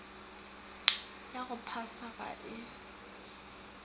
ya go phasa ga e